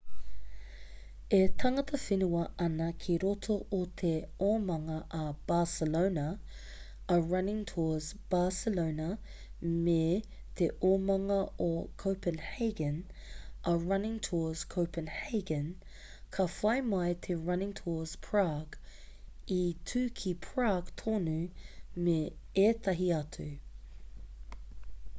e tangata whenua ana ki roto o te omanga a barcelona a running tours barcelona me te omanga o copenhagen a running tours copenhagen ka whai mai te running tours prage i tū ki prague tonu me ētahi atu